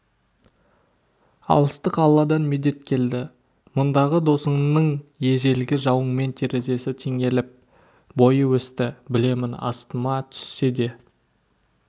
алыстық алладан медет келді мұндағы досыңның ежелгі жауыңмен терезесі теңеліп бойы өсті білемін астыма түссе де